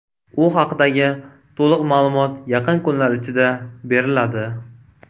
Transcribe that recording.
U haqdagi to‘liq ma’lumot yaqin kunlar ichida beriladi.